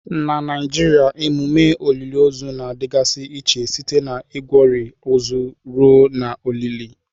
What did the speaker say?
Na Naijiria emume olili ozu na-adịgasị iche site na Igwori ozu ruo na olili.